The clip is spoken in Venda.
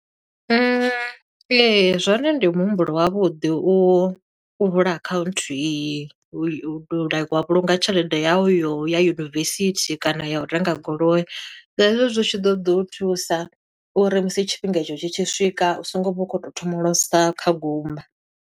Ee, zwone ndi muhumbulo wavhuḓi u, u vula akhaunthu iyi, u i like wa vhulunga tshelede yawu yo uya yunivesithi kana ya u renga goloi. Hezwo zwi tshi ḓo ḓi u thusa, uri musi tshifhinga i tsho tshi tshi swika u so ngo vha u khou tou thomolosa kha gumba.